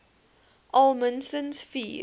al minstens vier